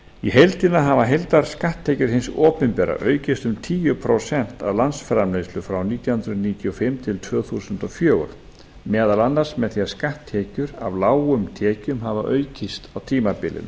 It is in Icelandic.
í heildina hafa heildarskatttekjur hins opinbera aukist um tíu prósent af landsframleiðslu frá nítján hundruð níutíu og fimm til tvö þúsund og fjögur meðal annars með því að skatttekjur af lágum tekjum hafa aukist á tímabilinu